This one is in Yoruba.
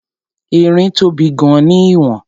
Erin tóbi gan-an ní ìwọ̀n..